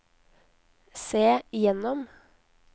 se gjennom